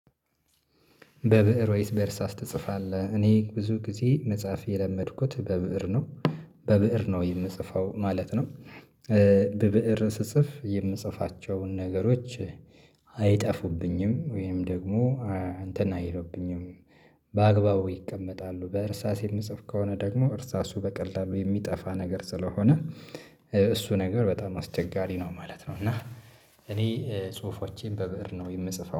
በብእር ወይስ በእርሳስ ትጽፋለህ? እኔ ብዙ ጊዜ መጽሐፍ የለመድኩት በብእር ነው በብእር ነው የምጽፈው ማለት ነው። በብእር ስጽፍ የምጽፋቸውን ነገሮች አይጠፉብኝም ወይም ደግሞ አንተን አይሉብኝም። በአግባቡ ይቀመጣሉ በእርሳስ የምጽፍ ከሆነ ደግሞ እርሳሱ በቀላሉ የሚጠፋ ነገር ስለሆነ እሱ ነገር በጣም አስቸጋሪ ነው ማለት ነው። እና እኔ ጽሁፎቼን በብእር ነው የምጽፈው